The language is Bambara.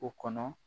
O kɔnɔ